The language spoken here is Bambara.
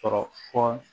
Sɔrɔ fɔ